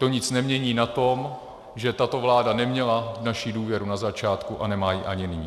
To nic nemění na tom, že tato vláda neměla naši důvěru na začátku a nemá ji ani nyní.